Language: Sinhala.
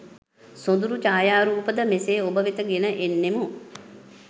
සොඳුරු ඡායාරූප ද මෙසේ ඔබ වෙත ගෙන එන්නෙමු